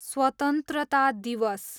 स्वतन्त्रता दिवस